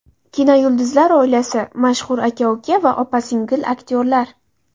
Kinoyulduzlar oilasi: Mashhur aka-uka va opa-singil aktyorlar .